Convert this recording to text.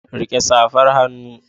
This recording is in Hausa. Rike safar hannu.